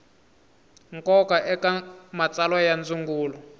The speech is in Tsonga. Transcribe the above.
nkoka eka matsalwa ya ndzungulo